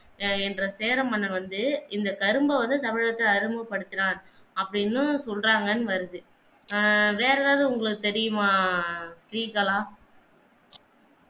என்ற சேர மன்னர் வந்து இந்த கரும்ப வந்து தமிழகத்துக்கு அறிமுக படுத்தினார் அப்படின்னும் சொல்றாங்க என்று வருது ஆஹ் வேற ஏதாவது உங்களுக்கு தெரியுமா ஆஹ் ஸ்ரீகலா